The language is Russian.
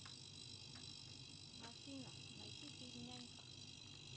афина найти фильм нянька